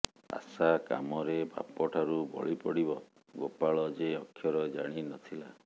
ଆଶା କାମରେ ବାପଠାରୁ ବଳି ପଡ଼ିବ ଗୋପାଳ ଯେ ଅକ୍ଷର ଜାଣି ନ ଥିଲା